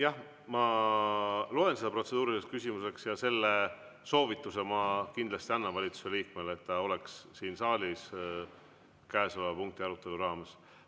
Jah, ma loen seda protseduuriliseks küsimuseks ja selle soovituse ma kindlasti annan valitsuse liikmele, et ta oleks siin saalis käesoleva punkti arutelu raames.